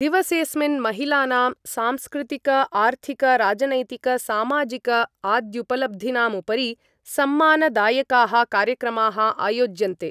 दिवसेस्मिन् महिलानां सांस्कृतिकार्थिक राजनैतिक सामाजिकाद्युपलब्धीनामुपरि सम्मानदायकाः कार्यक्रमाः आयोज्यन्ते।